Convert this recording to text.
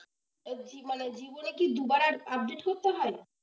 জীবনে জীবনে কি দুবার update করতে হয়?